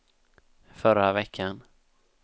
förra veckan